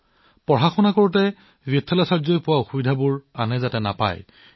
বিথালাচাৰ্যজীয়ে কৈছে যে তেওঁ পঢ়াশুনাত সন্মুখীন হোৱা অসুবিধাৰ সন্মুখীন হব নালাগে